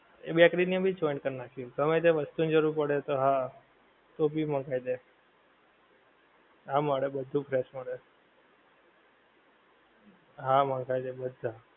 એ bakery ને પણ joint કર નાખી ગમ્મે તે વસ્તુ ની જરૂર પડે તો હા કોફી મંગાઈ લે હા મળે બધું fresh મળે હા મંગાઈ લે બધાં